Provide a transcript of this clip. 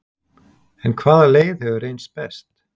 En hvaða leið hefur reynst best?